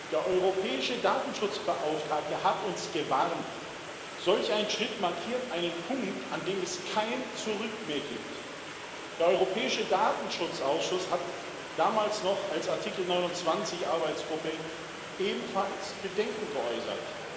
Der Europäische Datenschutzbeauftragte hat uns gewarnt Solch ein Schritt markiert einen Punkt, an dem es kein Zurück mehr gibt. Der Europäische Datenschutzausschuss hat damals noch als Artikel 29 Datenschutzgruppe ebenfalls Bedenken geäußert.